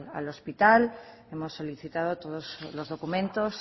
al hospital hemos solicitado todos los documentos